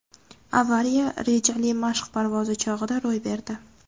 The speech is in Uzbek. Avariya rejali mashq parvozi chog‘ida ro‘y berdi.